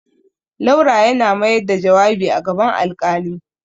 Laura yana mayar da jawabi a gaban alƙali.